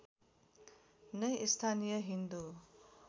नै स्थानीय हिन्दु